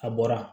A bɔra